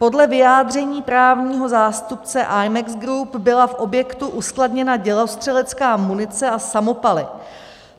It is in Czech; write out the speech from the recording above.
Podle vyjádření právního zástupce Imex Group byla v objektu uskladněna dělostřelecká munice a samopaly.